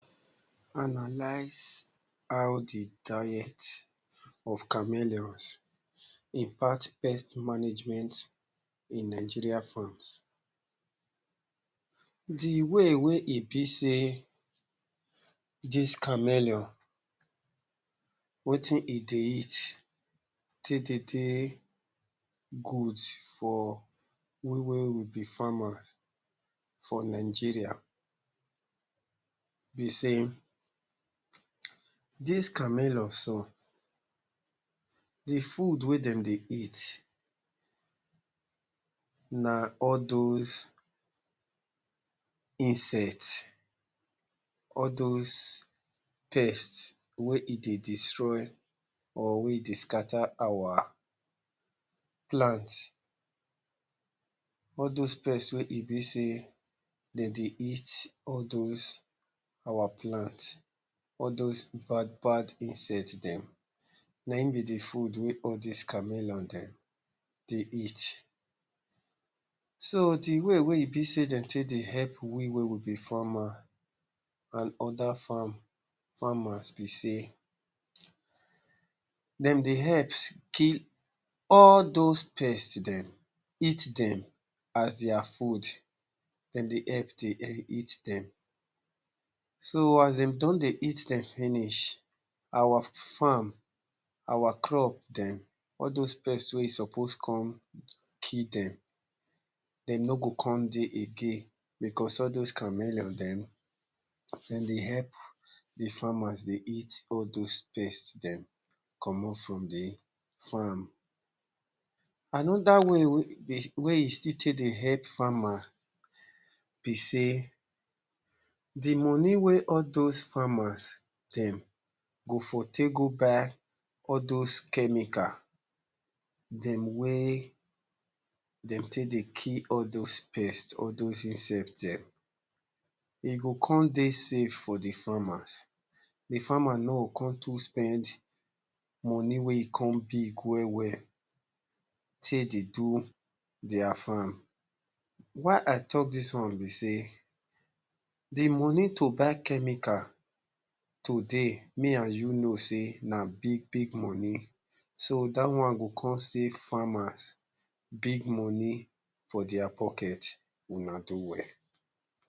true true you suppose doublecheck social media talk with beta hospital site